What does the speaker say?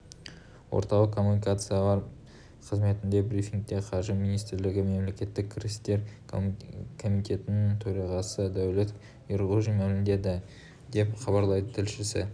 орталық коммуникациялар қызметіндегі брифингте қаржы министрлігі мемлекеттік кірістер комитетінің төрағасыдәулет ерғожин мәлімдеді деп хабарлайды тілшісі